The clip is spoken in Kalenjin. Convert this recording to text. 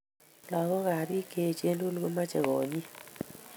Lakok ak biik che echen tugul komochei konyit.